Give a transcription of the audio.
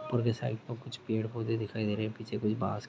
ऊपर की साइड में कुछ पेड़ पौधे दिखाई दे रहे हैं पीछे कुछ बाँस--